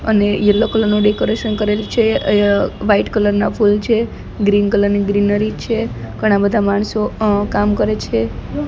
અને yellow colour નુ decoration કરેલુ છે અ વ્હાઇટ કલર ના ફૂલ છે ગ્રીન કલર ની ગ્રેનરી છે ઘણા બધા માણસો અ કામ કરે છે. "